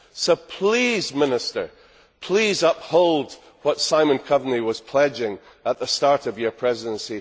So please, Minister, please uphold what Simon Coveney was pledging at the start of your Presidency.